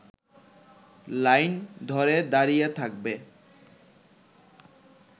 line ধরে দাঁড়িয়ে থাকবে